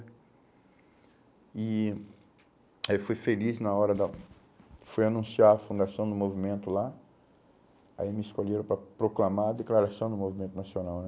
E aí eu fui feliz na hora da, fui anunciar a fundação do movimento lá, aí me escolheram para proclamar a declaração do movimento nacional né?